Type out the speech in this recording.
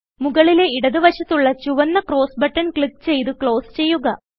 മുകളിലെ ഇടതു വശത്തുള്ള ചുവന്ന ക്രോസ് ബട്ടൺ ക്ലിക്ക് ചെയ്ത് ക്ലോസ് ചെയ്യുക